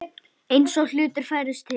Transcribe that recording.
Eins og hlutir færðust til.